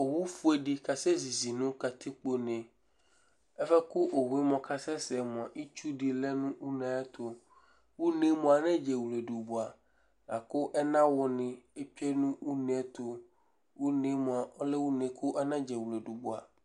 Owu fʋe ɖi kasɛ zízì ŋu katikpo ne Ɛfʋɛ kʋ owue kasɛsɛ mʋa itsɛɖi ɔlɛ ŋu ʋne ayʋɛtu Ʋne mʋa anadie wleɖu bʋa Akʋ ɛnawu ni tsʋe ŋu ʋne Ʋne lɛ ʋne ɖi kʋ anadie wleɖu bʋa